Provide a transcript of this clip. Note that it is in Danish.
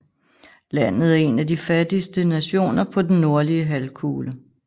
Landet er en af de fattigste nationer på den nordlige halvkugle